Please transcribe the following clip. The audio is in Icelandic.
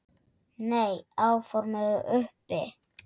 Nei, áform eru uppi